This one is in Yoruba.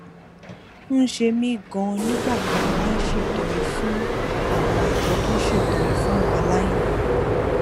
ń ṣe mí ganan nígbà tá a bá ń ṣètọrẹ fún àwọn àjọ tó ń ṣètọrẹ fún àwọn aláìní